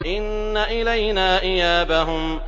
إِنَّ إِلَيْنَا إِيَابَهُمْ